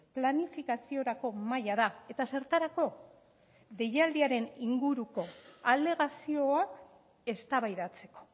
planifikaziorako mahaia da eta zertarako deialdiaren inguruko alegazioak eztabaidatzeko